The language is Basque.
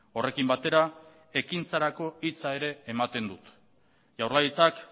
horrekin batera ekintzarako hitza ere ematen dut jaurlaritzak